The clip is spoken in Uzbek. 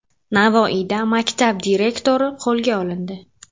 Navoiyda maktab direktori qo‘lga olindi.